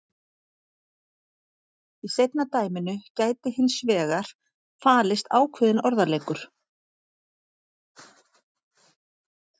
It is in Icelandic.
Í seinna dæminu gæti hins vegar falist ákveðinn orðaleikur.